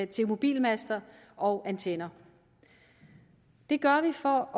til mobilmaster og antenner det gør vi for